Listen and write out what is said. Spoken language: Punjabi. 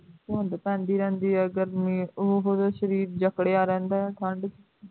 ਤੁਦ ਪਰਦੀ ਰਹਿੰਦੀ ਹੈ ਗਰਮੀ ਉਹੋ ਜਿਹਾ ਸਰੀਰ ਜਕੜਿਆ ਰਹਿੰਦਾ ਹੈਂ ਠੰਢ